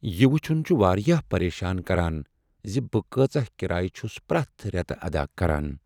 یہ وٗچھٗن چھ واریاہ پریشان كران زِ بہٕ کٲژاہ کرایہ چھس پرٛیتھ ریتہٕ ادا كران ۔